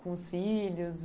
Com os filhos?